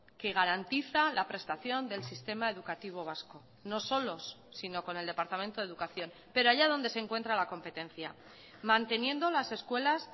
que garantiza la prestación del sistema educativo vasco no solos sino con el departamento de educación pero haya donde se encuentra la competencia manteniendo las escuelas